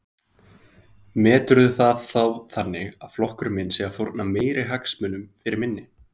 Björn: Meturðu það þá þannig að flokkurinn sé að fórna meiri hagsmunum fyrir minni?